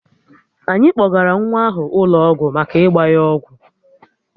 Anyị kpọgara nwa ahụ ụlọ ọgwụ maka ịgba ya ọgwụ